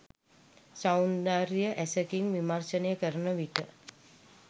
සෞන්දර්ය ඇසකින් විමර්ශනය කරන විට